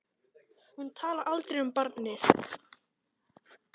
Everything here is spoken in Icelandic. Hún talar aldrei um barnið.